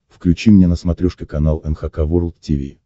включи мне на смотрешке канал эн эйч кей волд ти ви